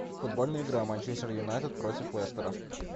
футбольная игра манчестер юнайтед против лестера